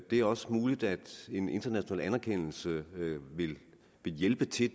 er også muligt at en international anerkendelse vil hjælpe til